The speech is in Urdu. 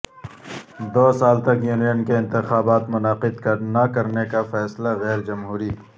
دو سال تک یونین کے انتخابات منعقد نہ کرنے کا فیصلہ غیر جمہوری